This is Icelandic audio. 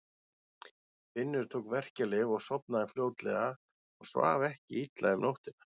Finnur tók verkjalyf og sofnaði fljótlega og svaf ekki illa um nóttina.